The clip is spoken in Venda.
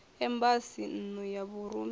embasi nn u ya vhurumiwa